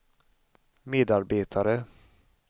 medarbetare